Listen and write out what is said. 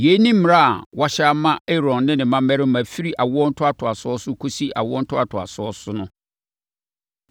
Yei ne mmara a wɔahyɛ ama Aaron ne ne mmammarima firi awo ntoatoasoɔ so kɔsi awo ntoatoasoɔ so no.”